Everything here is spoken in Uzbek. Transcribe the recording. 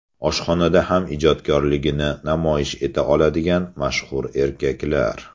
Oshxonada ham ijodkorligini namoyish eta oladigan mashhur erkaklar .